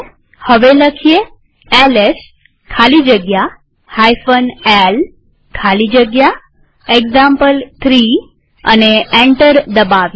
હવે એલએસ ખાલી જગ્યા l ખાલી જગ્યા એક્ઝામ્પલ3 લખી એન્ટર દબાવીએ